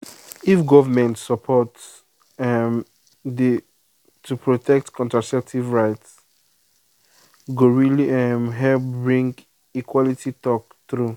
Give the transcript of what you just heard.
if government support um dey to protect contraceptive rights go really um help bring equality true talk.